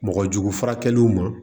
Mɔgɔ jugu furakɛliw ma